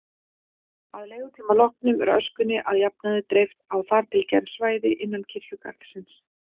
Að leigutíma loknum er öskunni að jafnaði dreift á þar til gerð svæði innan kirkjugarðsins.